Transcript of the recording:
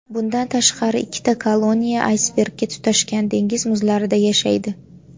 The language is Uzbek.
Bundan tashqari ikkita koloniya aysbergga tutashgan dengiz muzlarida yashaydi.